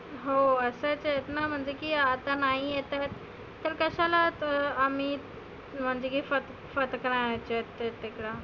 हो आता तेच ना आता नाही येत आहे. तर कशाला त आम्ही